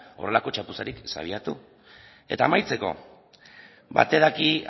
horrelako txapuzarik ez abiatu eta amaitzeko batek daki